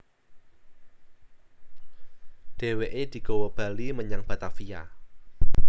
Dhèwèké digawa bali menyang Batavia